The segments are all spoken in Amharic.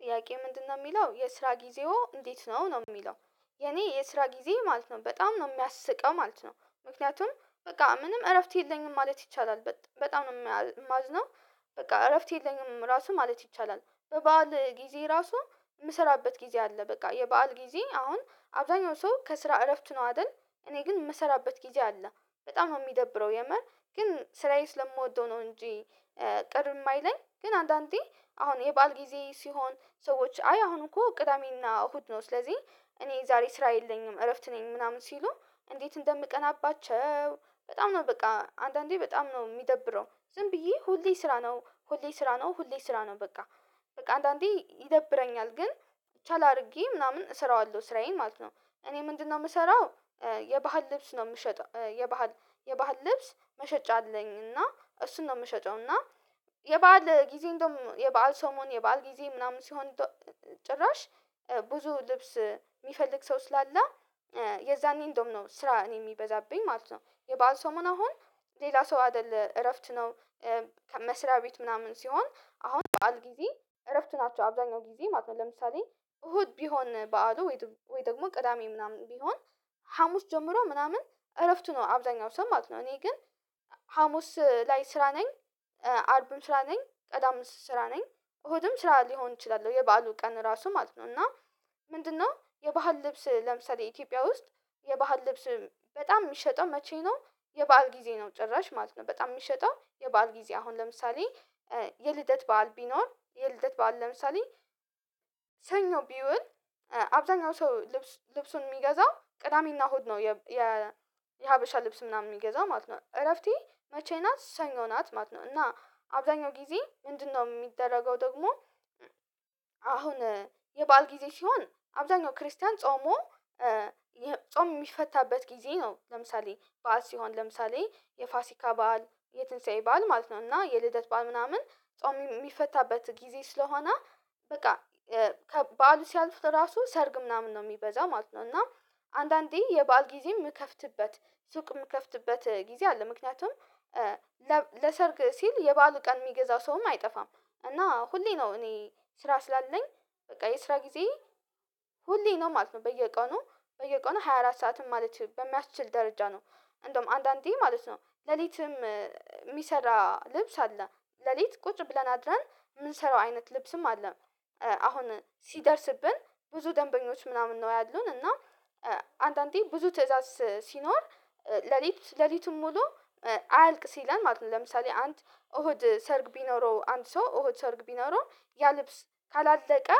ጥያቄ ምንድነው የሚለው የስራ ጊዜው እንዴት ነው ነው የሚለው? የኔ የስራ ጊዜ ማለት ነው በጣም ነው የሚያስቀው ማለት ነው። ምክንያቱም በቃ ምንም እረፍት የለኝም ማለት ይቻላል በጣም ነው የማዝነው። በቃ እረፍት የለኝም ራሱ ማለት ይቻላል በበዓል ጊዜ ራሱ የምሰራበት ጊዜ አለ በቃ የበአል ጊዜ አሁን አብዛኛው ሰው ከስራ እረፍት ነው አይደል። እኔ ግን የምሰራበት ጊዜ አለ በጣም ነው የሚደብረው የምር ግን ስራዬ ስለምወደው ነው እንጂ። ቅር የማይለኝ ግን አንዳንዴ አሁን የባዓል ጊዜ ሲሆን ሰዎች አይ አሁን እኮ ቅዳሜና እሁድ ነው ስለዚህ እኔ ዛሬ ስራ የለኝም እረፍት ነኝ ምናምን ሲሉ እንዴት እንደምቀናባቸው። በጣም ነው በቃ አንዳንዴ በጣም ነው የሚደብረው ዝም ብዬ ሁሌ ስራ ነው ሁሌ ስራ ነው ሁሌ ስራ ነው በቃ። አንዳንዴ ይደብረኛል ግን ቻል አድርጌ ምናምን እሰራዋለሁ ስራዬን ማለት ነው። እኔ ምንድነው የምሰራው? የባህል ልብስ ነው የምሸጠው የባህል የባህል ልብስ መሸጫ አለኝና እሱን ነው የምሸጠውና። የባዓል ጊዜ እንደውም የባል ሰሞን የባል ጊዜ ምናምን ሲሆን ጭራሽ ብዙ ልብስ የሚፈልግ ሰው ስላለ የዛኔ እንደውም ነው ስራ እኔ የሚበዛብኝ ማለት ነው። የበአል ሰሞን አሁን ሌላ ሰው አይደለም እረፍት ነው። ከመስሪያ ቤት ምናምን ሲሆን አሁን በዓል ጊዜ እረፍት ናቸው አብዛኛው ጊዜ ማለት ነው። ለምሳሌ እሁድ ቢሆን በዓሉ ወይ ደግሞ ቅዳሜ ምናምን ቢሆን ሀሙስ ጀምሮ ምናምን እረፍቱ ነው አብዛኛው ሰው ማለት ነው እኔ ግን ሀሙስ ላይ ስራ ነኝ። አርብም ስራ ነኝ ቅዳሜም ስራ ነኝ እሁድም ስራ ሊሆን እችላል የባሉ ቀን ራሱ ማለት ነው። እና ምንድነው የባህል ልብስ ለምሳሌ ኢትዮጵያ ውስጥ የባህል ልብስ በጣም የሚሸጠው መቼ ነው? የባዓል ጊዜ ነው ጭራሽ ማለት ነው በጣም የሚሸጠው የባህል ጊዜ አሁን ለምሳሌ የልደት በዓል ቢኖር የልደት በዓል ለምሳሌ ሰኞ ቢውል አብዛኛው ሰው ልብሱን የሚገዛው ቅዳሜና እሁድ ነው። የሀበሻ ልብስ ምናምን የሚገዛው ማለት ነው እረፍቴ መቼ ናት ሰኞ ናት ማለት ነው። እና አብዛኛው ጊዜ ምንድነው የሚደረገው ደግሞ? አሁን የበአል ጊዜ ሲሆን አብዛኛው ክርስቲያን ጾሞ ጾም የሚፈታበት ጊዜ ነው ለምሳሌ በዓል ሲሆን ለምሳሌ የፋሲካ በዓል የትንሳኤ በዓል ማለት ነው እና የልደት በዓል ምናምን ጾም የሚፈታበት ጊዜ ስለሆነ በቃ ከበዓል ሲያልፉት ራሱ ሰርግ ምናምን ነው የሚበዛው ማለት ነው። እና አንዳንዴ የበአል ጊዜ የምከፍትበት ሱቅ የምከፍትበት ጊዜ አለ ምክንያቱም ለሰርግ ሲል የበአሉ ቀን የሚገዛ ሰውም አይጠፋም። እና ሁሌ ነው እኔ ስራ ስላለኝ በቃ የስራ ጊዜ ሁሌ ነው ማለት ነው። በየቀኑ በየቀኑ ሃያ አራት ሰዓትም ማለት በሚያስችል ደረጃ ነው እንደውም አንዳንዴ ማለት ነው ሌሊትም የሚሰራ ልብስ አለ ሌሊት ቁጭ ብለን አድረን የምንሰራው አይነት ልብስም አለ። አሁን ሲደርስብን ብዙ ደንበኞች ምናምን ነው ያሉን እና አንዳንዴ ብዙ ትእዛዝ ሲኖር ሌሊት ሌሊቱን ሙሉ አያልቅ ሲለን ማለት ነው። ለምሳሌ አንድ እሁድ ሰርግ ቢኖረው አንተ ሰው እሁድ ሰርግ ቢኖረው ያ ልብስ ካላለቀ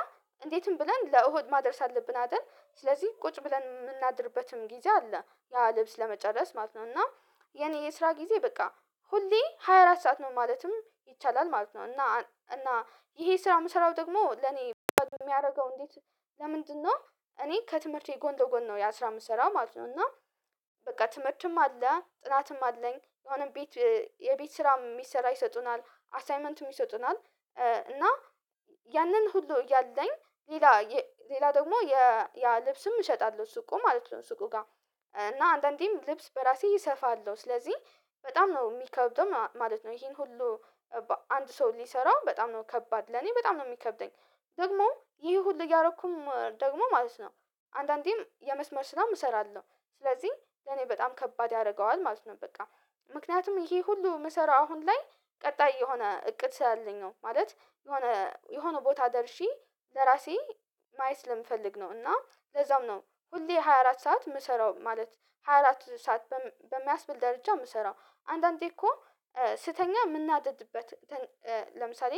እንዴትም ብለን ለእሁድ ማድረስ አለብን አይደል ስለዚህ ቁጭ ብለን የምናድርበትም ጊዜ አለ ያ ልብስ ለመጨረስ ማለት ነው። እና የእኔ የስራ ጊዜ በቃ ሁሌ ሃያ አራት ሰዓት ነው ማለትም ይቻላል ማለት ነው። እና እና ይሄ ስራ የምሰራው ደግሞ ለኔ የሚያደርገው እንዴት ለምንድነው? እኔ ከትምህርቴ ጎን ለጎን ነው የስራ የምሰራው ማለት ነው እና በቃ ትምህርትም አለ ጥናትም አለኝ የሆነ ቤት የቤት ስራ የሚሰራ ይሰጡናል አሳይመንትም ይሰጡናል እና ያንን ሁሉ እያለኝ ሌላ ሌላ ደግሞ ያ ልብስም እሸጣለሁ ሱቁ ማለት ነው። ሱቁ ጋር እና አንዳንዴም ልብስ በራሴ እሰፋለሁ ስለዚህ በጣም ነው የሚከብደው ማለት ነው ይሄን ሁሉ አንድ ሰው ሊሰራው በጣም ነው ከባድ ለኔ በጣም ነው የሚከብደኝ። ደግሞ ይሄ ሁሉ እያደረኩም ደግሞ ማለት አንዳንዴም የመስመር ስራም እሰራለሁ ስለዚህ ለኔ በጣም ከባድ ያደርገዋል ማለት ነው። በቃ ምክንያቱም ይሄ ሁሉ የምሰራው አሁን ላይ ቀጣይ የሆነ እቅድ ስላለኝ ነው ማለት የሆነ የሆነ ቦታ ደርሼ ለራሴ ማያት ስለምፈልግ ነው። እና ለዛም ነው ሁሌ ሃያ አራት ሰዓት የምሰራው ማለት ሃያ አራት ሰዓት በሚያስብል ደረጃ የምሰራው አንዳንዴ እኮ ስተኛ የምናደድበት ለምሳሌ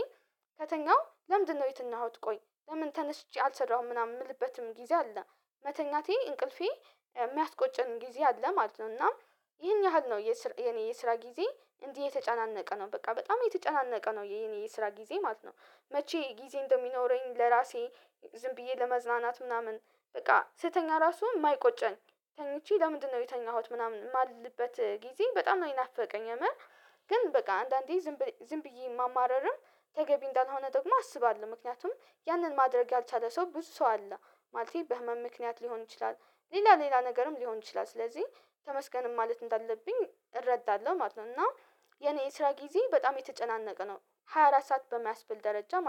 ከተኛው ለምንድነው የትኛሁት ቆይ ለምን ተነስቼ አልሰራሁም ምናምን የምልበትም ጊዜ አለ መተኛቴ እንቅልፌ የሚያስቆጨን ጊዜ አለ ማለት ነው። እናም ይሄን ያህል ነው የኔ የስራ ጊዜ እንዲህ የተጫነቀ ነው በቃ በጣም የተጫነቀ ነው የኔ የስራ ጊዜ ማለት ነው። መቼ ጊዜ እንደሚኖረኝ ለራሴ ዝም ብዬ ለመዝናናት ምናምን በቃ ስተኛ ራሱን የማይቆጨኝ ተኝቼ ለምንድነው የተኛሁት ምናምን የማልልበት ጊዜ በጣም ነው የናፈቀኝ። የምር ግን በቃ አንዳንዴ ዝም ዝም ብዬ ማማረርም ተገቢ እንዳልሆነ ደግሞ አስባለሁ ምክንያቱም ያንን ማድረግ ያልቻለ ሰው ብዙ ሰው አለ ማለቴ በህመም ምክንያት ሊሆን ይችላል ሌላ ሌላ ነገርም ሊሆን ይችላል ስለዚህ ተመስገንም ማለት እንዳለብኝ እረዳለሁ ማለት ነው። እና የኔ ስራ ጊዜ በጣም የተጨናነቀ ነው። ሃያ አራት ሰዓት በማያስብል ደረጃ ማለት ነው